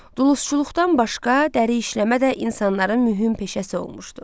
Duluzçuluqdan başqa dəri işləmə də insanların mühüm peşəsi olmuşdu.